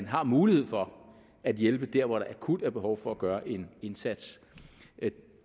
har mulighed for at hjælpe der hvor der akut er behov for at gøre en indsats